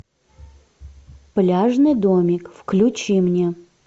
пляжный домик включи мне